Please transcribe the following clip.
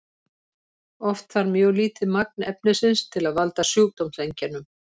oft þarf mjög lítið magn efnisins til að valda sjúkdómseinkennum